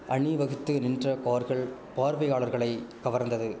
அணிவகுத்து நின்ற கார்கள் பார்வையாளர்களை கவர்ந்தது